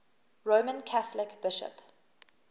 roman catholic bishop